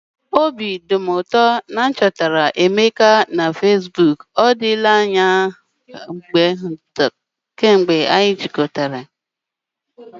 Obi dị m ụtọ na m chọtara Emeka na Fesbuk! Ọ dịla anya kemgbe anyị jikọtara.